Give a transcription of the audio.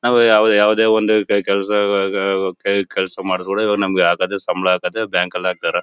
ನಾವು ಯಾವ ಯಾವುದೇ ಒಂದು ಕೈ ಕೆಲಸ ಕೈ ಕೆಲಸ ಮಾಡಿ ಕೊಟ್ರೆ ಇವರು ನಮಗೆ ಹಾಕೋದೇ ಸಂಬಳ ಹಾಕೋದೇ ಬ್ಯಾಂಕ್ ಲ್ಲಿ ಹಾಕ್ತಾರೆ .